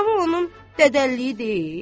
Qlava onun dədəliyi deyil?